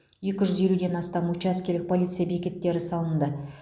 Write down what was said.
екі жүз елуден астам учаскелік полиция бекеттері салынды